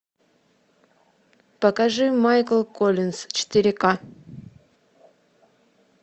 покажи майкл коллинз четыре ка